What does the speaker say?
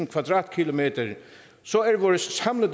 kvadratkilometer så